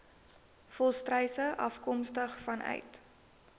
volstruise afkomstig vanuit